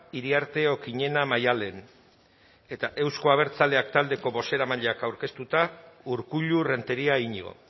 iriarte okiñena maddalen eta euzko abertzaleak taldeko bozeramaileak aurkeztuta urkullu renteria iñigo